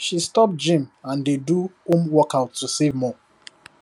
she stop gym and dey do home workout to save more